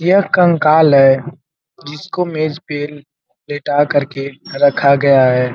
यह कंकाल है। जिसको मेज़ पर पे लेटा कर के रखा गया है।